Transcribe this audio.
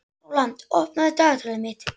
Rólant, opnaðu dagatalið mitt.